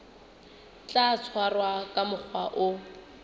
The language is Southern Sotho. tla tshwarwa ka mokgwa o